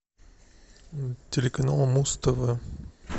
телеканал муз тв